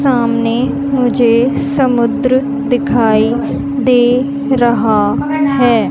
सामने मुझे समुद्र दिखाई दे रहा हैं।